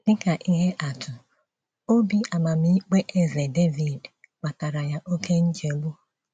Dị ka ihe atụ, òbì amámmíkpè Eze Devid kpataara ya oké nchegbu.